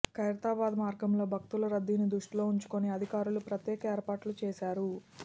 ఖైరతాబాద్ మార్గంలో భక్తుల రద్దీని దృష్టిలో ఉంచుకొని అధికారులు ప్రత్యేక ఏర్పాట్లు చేశారు